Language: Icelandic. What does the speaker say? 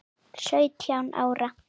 Sautján ára.